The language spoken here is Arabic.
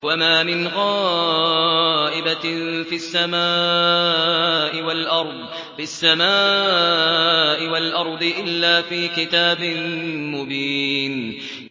وَمَا مِنْ غَائِبَةٍ فِي السَّمَاءِ وَالْأَرْضِ إِلَّا فِي كِتَابٍ مُّبِينٍ